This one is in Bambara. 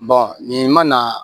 nin ma na